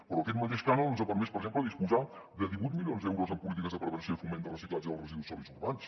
però aquest mateix cànon ens ha permès per exemple disposar de divuit milions d’euros en polítiques de prevenció i foment de reciclatge dels residus sòlids urbans